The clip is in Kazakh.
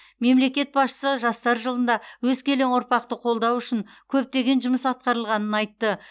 мемлекет басшысы жастар жылында өскелең ұрпақты қолдау үшін көптеген жұмыс атқарылғанын айтты